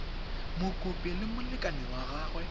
mokopi le molekane wa gagwe